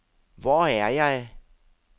Hvor er jeg